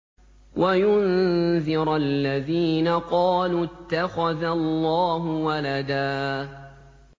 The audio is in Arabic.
وَيُنذِرَ الَّذِينَ قَالُوا اتَّخَذَ اللَّهُ وَلَدًا